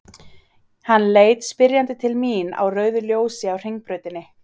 Hann leit spyrjandi til mín á rauðu ljósi á Hringbrautinni.